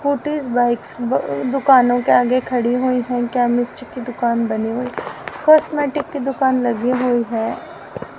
Scooties bikes ब दुकानों के आगे खड़ी हुई है केमिस्ट की दुकान बनी हुई है कॉस्मेटिक की दुकान लगी हुई है।